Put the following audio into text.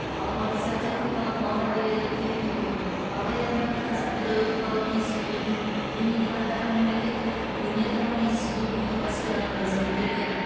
алматы зоотехникалық малдәрігерлік техникумын абай атындағы қазақ педагогикалық институтын ленинградтағы мемлекеттік өнертану институтының аспирантурасын бітірген